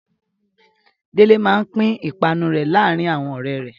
Délé máa pín ìpanu rẹ̀ láàárin àwọn ọ̀rẹ́ rẹ̀.